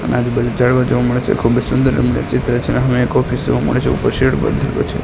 આજુબાજુ ઝાડવા જોવા મળે છે ખૂબજ સુંદર રમણીય ચિત્ર છે હામે એક ઓફિસ જોવા મળે છે ઉપર શેડ બાંધેલો છે.